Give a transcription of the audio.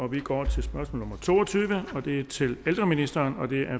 vi går over til spørgsmål nummer to og tyve og det er til ældreministeren og det